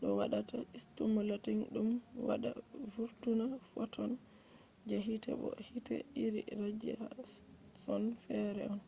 do wada stimulating dum wada vurtina photon je hite bo hite iri radiashon fere on